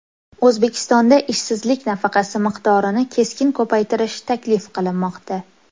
O‘zbekistonda ishsizlik nafaqasi miqdorini keskin ko‘paytirish taklif qilinmoqda.